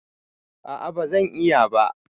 A'a bazan iya ba